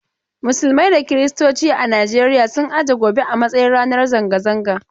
Musulmai da kirstoci a Najeriya sun aje gobe a matsayin ranar zanga-zanga.